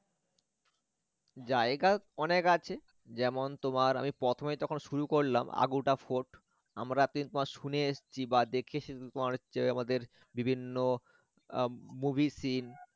জায়গা অনেক আছে যেমন তোমার আমি প্রথমে যখন শুরু করলাম Aguada fort আমরা বা দেখেছি আমাদের বিভিন্ন আহ movie scene